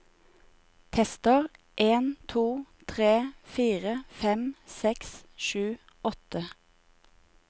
Tester en to tre fire fem seks sju åtte